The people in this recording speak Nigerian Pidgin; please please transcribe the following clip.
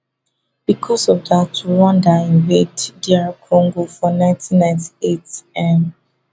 bicos of dat rwanda invade dr congo for nineteen nighty eight